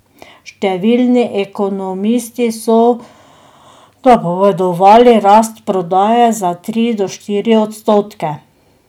Številni ekonomisti so napovedovali rast prodaje za tri do štiri odstotke.